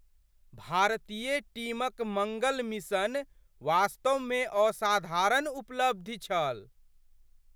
भारतीय टीमक मङ्गल मिशन वास्तवमे असाधारण उपलब्धि छल!